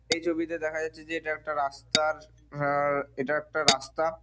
এই ছবিতে দেখা যাচ্ছে যে এই টা একটা রাস্তার অ্যা -অ্যা এটা একটা রাস্তা ।